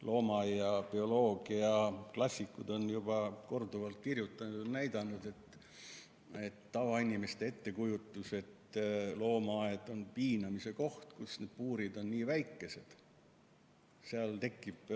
Loomaaia bioloogidest klassikud on korduvalt kirjutanud, et tavainimeste ettekujutus, et loomaaed on piinamise koht, sest seal on puurid nii väikesed, seal tekib ...